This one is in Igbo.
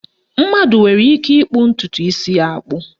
Mmadụ nwere ike ịkpụ ntụtụ isi ya akpụ